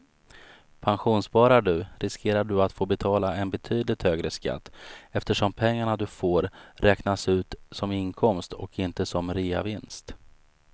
Pensionssparar du riskerar du att få betala en betydligt högre skatt eftersom pengarna du får ut räknas som inkomst och inte som reavinst.